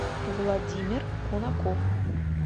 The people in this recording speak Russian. владимир кунаков